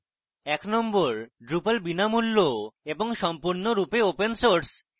1 number: drupal এর বিনামূল্য এবং সম্পূর্ণরূপে ওপেন সোর্স